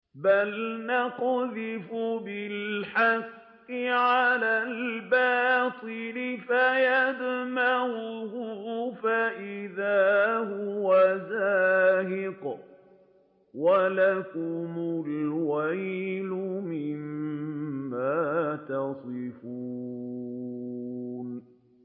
بَلْ نَقْذِفُ بِالْحَقِّ عَلَى الْبَاطِلِ فَيَدْمَغُهُ فَإِذَا هُوَ زَاهِقٌ ۚ وَلَكُمُ الْوَيْلُ مِمَّا تَصِفُونَ